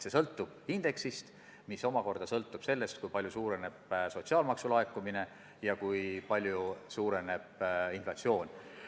See sõltub indeksist, mis omakorda sõltub sellest, kui palju suureneb sotsiaalmaksu laekumine ja kui palju suureneb inflatsioon.